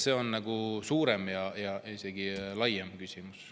See on suurem ja laiem küsimus.